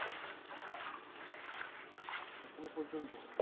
এখনো পর্যন্ত